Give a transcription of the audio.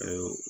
Ayiwa